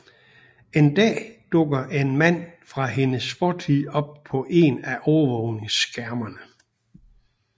En dag dukker en mand fra hendes fortid op på en af overvågningsskærmene